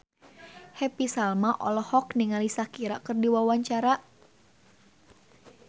Happy Salma olohok ningali Shakira keur diwawancara